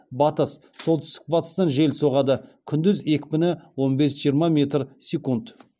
батыс солтүстік батыстан жел соғады күндіз екпіні он бес жиырма метр секунд